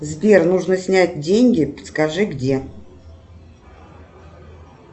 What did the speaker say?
сбер нужно снять деньги подскажи где